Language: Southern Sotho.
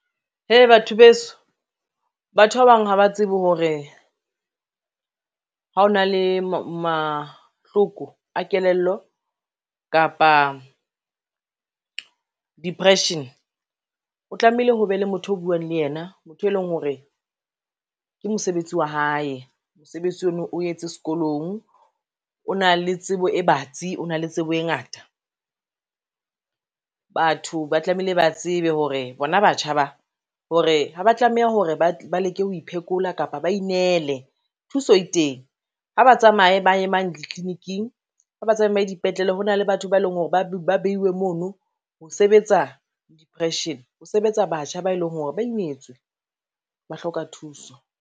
Hee batho beso, batho ba bang ha ba tsebe hore, ha o na le mahloko a kelello kapa depression, o tlameile ho be le motho o buang le yena motho e leng hore ke mosebetsi wa hae, mosebetsi ona o etse sekolong o na le tsebo e batsi, o na le tsebo e ngata. Batho ba tlameilee ba tsebe hore bona batjha ba hore, ha ba tlameha hore ba leke ho iphekola kapa ba inele thuso e teng, ha ba tsamaye ba ye mane ditliliniking ha ba tsamaye dipetlele ho na le batho ba eleng hore ba beiwe mono ho sebetsa depression, ho sebetsa batjha ba eleng hore ba imetswe ba hloka thuso.